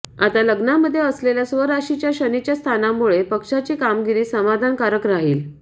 आता लग्नामध्ये असलेल्या स्वराशीच्या शनीच्या स्थानामुळे पक्षाची कामगिरी समाधामकारक राहील